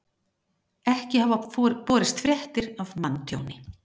Ekki hafa borist fréttir af manntjóni